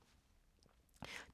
TV 2